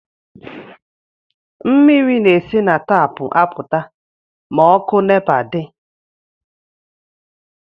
Mmiri na-esi na tapụ apụta ma ọkụ nepa di